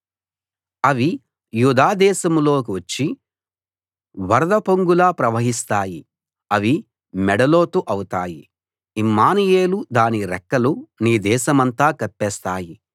అవి యూదా దేశంలోకి వచ్చి వరద పొంగులా ప్రవహిస్తాయి అవి మెడలోతు అవుతాయి ఇమ్మానుయేలూ దాని రెక్కలు నీ దేశమంతా కప్పేస్తాయి